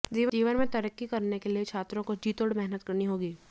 जीवन में तरक्की करने के लिए छात्रों को जीतोड़ मेहनत करनी होगी